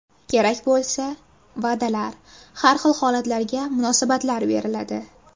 Kerak bo‘lsa, va’dalar, har xil holatlarga munosabatlar beriladi.